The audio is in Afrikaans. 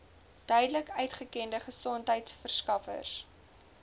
duidelik uitgekende gesondheidsorgverskaffers